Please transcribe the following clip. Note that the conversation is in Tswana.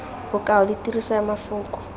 bokao le tiriso ya mafoko